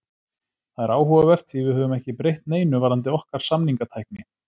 Það er áhugavert því við höfum ekki breytt neinu varðandi okkar samningatækni.